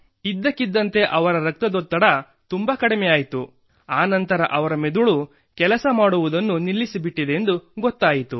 ಇದ್ದಕ್ಕಿದ್ದಂತೆ ಅವರ ರಕ್ತದೊತ್ತಡ ತುಂಬಾ ಕಡಿಮೆಯಾಯಿತು ಆ ನಂತರ ಅವರ ಮೆದುಳು ಕೆಲಸ ಮಾಡುವುದನ್ನು ನಿಲ್ಲಿಸಿಬಿಟ್ಟಿದೆ ಎಂದು ಗೊತ್ತಾಯಿತು